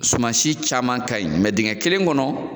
Soma si caman ka ɲi. dingɛ kelen kɔnɔ